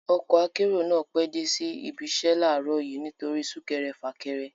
Ọkọ akérò náà pẹ́ dé sí ibiṣẹ́ láàrọ̀ yìí nítorí isúkẹrẹ fàkẹrẹ